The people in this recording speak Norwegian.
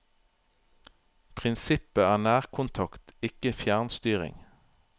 Prinsippet er nærkontakt, ikke fjernstyring.